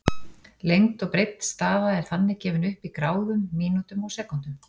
Lengd og breidd staða er þannig gefin upp í gráðum, mínútum og sekúndum.